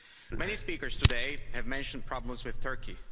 Many speakers today have mentioned problems with Turkey.